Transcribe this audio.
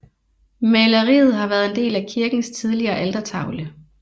Maleriet har været en del af kirkens tidligere altertavle